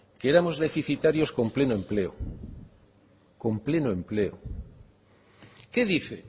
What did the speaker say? que éramos deficitarios con pleno empleo qué dice